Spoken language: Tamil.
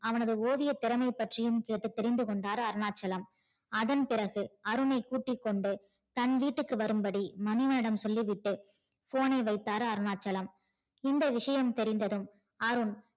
அவனது ஓவிய திறமை பற்றியும் கேட்டு தெரிந்து கொண்டார் அருணாச்சலம் அதன் பிறகு அருணை கூட்டிக்கொண்டு தன வீட்டுக்கு வரும்படி மணிவண்ணனிடம் சொல்லிவிட்டு phone ஐ வைத்தார் அருணாச்சலம் இந்த விஷயம் தெரிந்ததும் அருண்